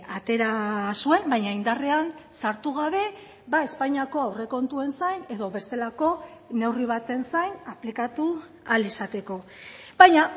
atera zuen baina indarrean sartu gabe espainiako aurrekontuen zain edo bestelako neurri baten zain aplikatu ahal izateko baina